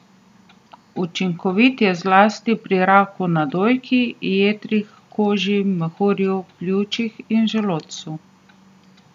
Učinkovit je zlasti pri raku na dojki, jetrih, koži, mehurju, pljučih in želodcu.